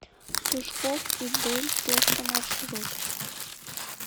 сушкоф и дель песто маршрут